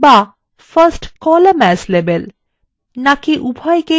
বা first column as label